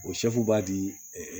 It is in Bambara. O sɛfu b'a di